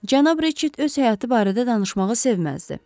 Cənab Reçet öz həyatı barədə danışmağı sevməzdi.